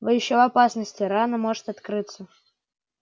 вы ещё в опасности рана может открыться